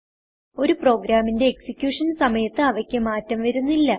ഒരു പ്രോഗ്രാമിന്റെ എക്സിക്യൂഷൻ സമയത്ത് അവയ്ക്ക് മാറ്റം വരുത്തുന്നില്ല